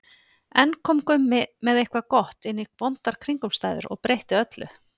Enn kom Gummi með eitthvað gott inn í vondar kringumstæður og breytti öllu.